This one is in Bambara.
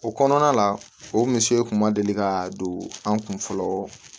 O kɔnɔna la o misiri kun ma deli ka don an kun fɔlɔ